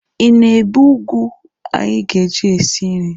Ị na-ebe ụgụ anyị ga-eji sie nri?